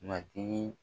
Matigi